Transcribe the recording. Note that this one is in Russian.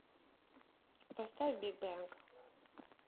поставь биг бэнг